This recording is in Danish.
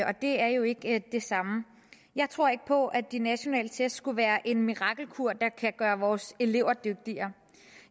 og det er jo ikke det samme jeg tror ikke på at de nationale test skulle være en mirakelkur der kan gøre vores elever dygtigere